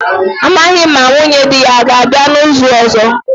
amaghim ma nwunye di ya o ga-abia n'izu ozo